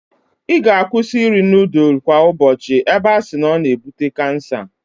I ga-akwụsi iri nudul kwa ubochi ebe a si na o na-ebute kansa.